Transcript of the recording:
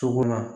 So kɔnɔ